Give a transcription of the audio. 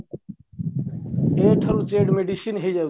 a ଠାରୁ z medicine ହେଇଯାଉଛି